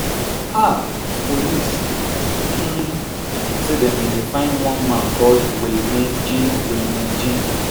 um police um say dem bin dey find one man called willmane jean willmane jean